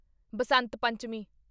Basant Panchami